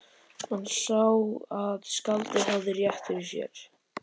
Hann sá að skáldið hafði rétt fyrir sér.